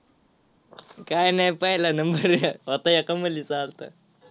काय नाही पहिला number होता एका मुलीचा अलता.